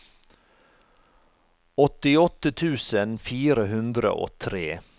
åttiåtte tusen fire hundre og tre